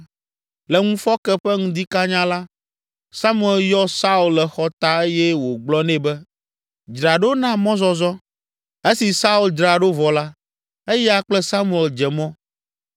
Le ŋufɔke ƒe ŋdi kanya la, Samuel yɔ Saul le xɔta eye wògblɔ nɛ be, “Dzra ɖo na mɔzɔzɔ.” Esi Saul dzra ɖo vɔ la, eya kple Samuel dze mɔ.